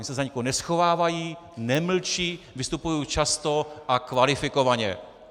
Oni se za nikoho neschovávají, nemlčí, vystupují často a kvalifikovaně.